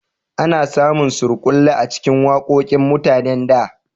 A na samun surkulle a cikin waƙoƙin mutanen da